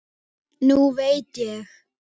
Nú veit ég.